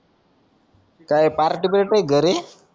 काई पार्टी बिर्टी घरी